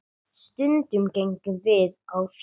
Stundum gengum við á fjöll.